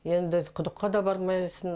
енді құдыққа да бармайсың